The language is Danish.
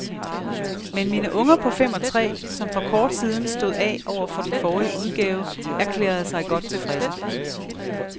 Men mine unger på fem og tre, som for kort siden stod af over for den forrige udgave, erklærede sig godt tilfredse.